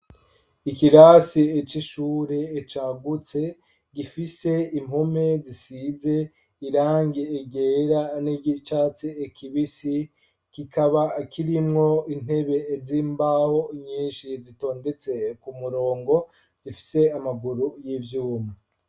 Ikirasi c'ishure cagutse, gifise impome zisize irangi ryera n'iry'icatsi kibisi, kikaba kirimwo intebe z'imbaho nyinshi zitondetse ku murongo zifise amaguru y'ivyuma.